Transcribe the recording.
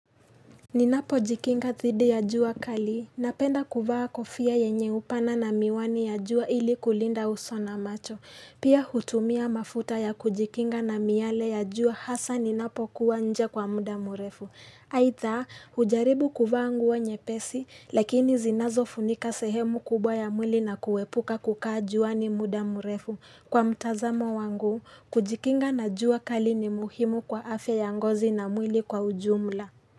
Ninapo jikinga thidi ya jua kali, napenda kuvaa kofia yenye upana na miwani ya jua ili kulinda uso na macho. Pia hutumia mafuta ya kujikinga na miyale ya jua hasa ninapo kuwa nje kwa muda murefu. Aidha, hujaribu kuvaa nguo nyepesi, lakini zinazo funika sehemu kubwa ya mwili na kuwepuka kukaa jua ni muda murefu. Kwa mtazamo wangu, kujikinga na jua kali ni muhimu kwa afya ya ngozi na mwili kwa ujumla.